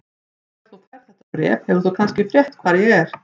Þegar þú færð þetta bréf hefur þú kannski frétt hvar ég er.